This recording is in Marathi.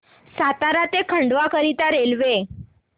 सातारा ते खंडवा करीता रेल्वे